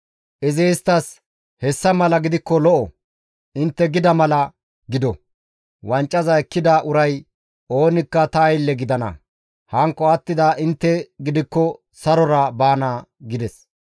Izi isttas, «Hessa mala gidikko lo7o; intte gida mala gido; wancaza ekkida uray oonikka ta aylle gidana; hankko attida intte gidikko sarora baana» gides.